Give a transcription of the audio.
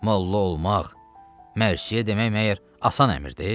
Molla olmaq, mərsiyə demək məyər asan əmrdir?